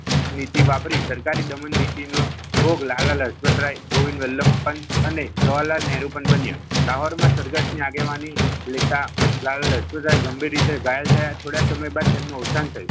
નીતિ વાપરી સરકારે દમણ નીતિનો ભોગ લાલા લજપતરાય ગોવિંદ વલ્લભ પંત અને જવાહરલાલ નેહરુ પણ બન્યા લાહોર માં સરઘસ ના આગેવાની લેતા લાલા લજપતરાય ગંભીર રીતે ઘાયલ થયા થોડા સમયે બાદ તેમનો અવસાન થયું.